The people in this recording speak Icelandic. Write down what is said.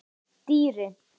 Dýri